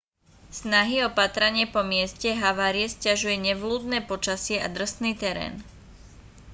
snahy o pátranie po mieste havárie sťažuje nevľúdne počasie a drsný terén